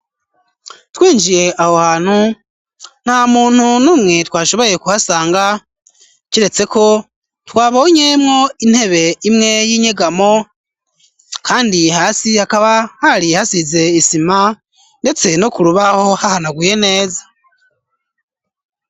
Twinjiye aho hantu na muntu n'umwe twashoboye kuhasanga ceretseko twabonyemwo intebe imwe y'inyegamo, kandi hasi yakaba hari hasize isima, ndetse no kurubaho hahanagwye neza.